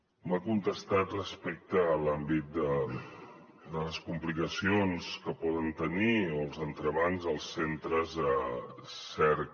m’ha contestat respecte a l’àmbit de les complicacions que poden tenir o els entrebancs els centres cerca